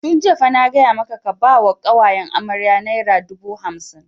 Tun jiya fa na gaya maka ka ba wa ƙawayen amarya naira dubu hamsin!